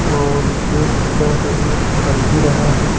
और गेट शायद अभी बन ही रहा है।